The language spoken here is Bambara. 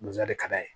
Nzɛrɛn ka d'a ye